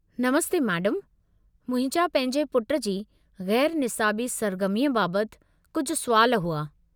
नमस्ते मैडमु, मुंहिंजा पंहिंजे पुटु जी ग़ैरु निसाबी सरगर्मीअ बाबति कुझु सुवाल हुआ।